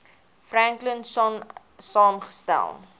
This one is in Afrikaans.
franklin sonn saamgestel